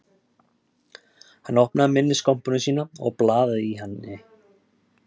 Hann opnaði minniskompuna sína og blaðaði í henni